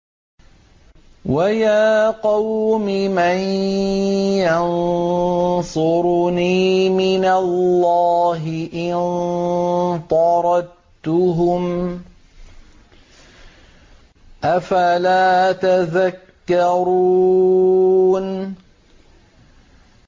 وَيَا قَوْمِ مَن يَنصُرُنِي مِنَ اللَّهِ إِن طَرَدتُّهُمْ ۚ أَفَلَا تَذَكَّرُونَ